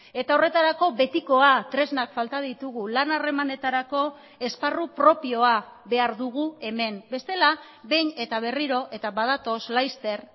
eta horretarako betikoa tresnak falta ditugu lan harremanetarako esparru propioa behar dugu hemen bestela behin eta berriro eta badatoz laster